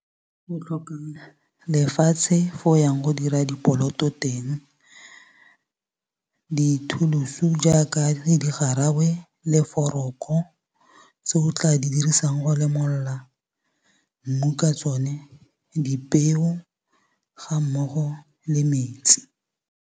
Go tlhoka lefatshe fo o yang go dira di poloto teng. Dithuluso jaaka di garawe le foroko, tse o tla di dirisang go lemolola mmu ka tsone, dipeo ga mmogo le metsi.